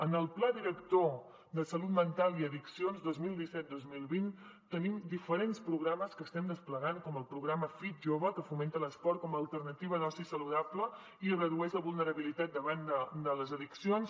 en el pla director de salut mental i addiccions dos mil disset dos mil vint tenim diferents programes que estem desplegant com el programa fitjove que fomenta l’esport com a alternativa d’oci saludable i redueix la vulnerabilitat davant de les addiccions